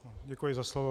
Děkuji za slovo.